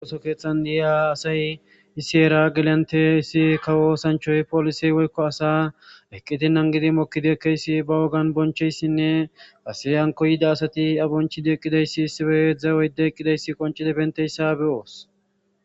woso keeththan diyiya asay issi heera gelante issi kawo sanchoy polise wolkko asa eqqitinnan gidi mokkideekkeyssi ba wogan boncheyssinne aseyanko yida asati abonchide eqqidayssi issife dzawoyde eqqidayssi qoncida benteyssa beyoos